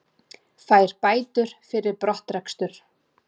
Fær bætur fyrir brottrekstur